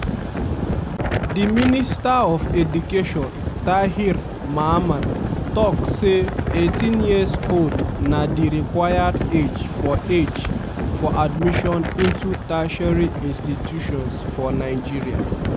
di minister of education tahir mamman tok say 18 years old na di required age for age for admission into tertiary institutions for nigeria.